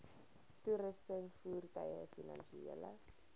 toerusting voertuie finansiële